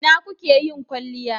Ina kuke yin kwalliyai?